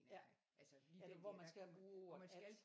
Ja eller hvor man skal bruge ordet at